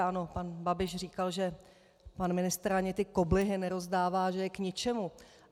Ano, pan Babiš říkal, že pan ministr ani ty koblihy nerozdává, že je k ničemu.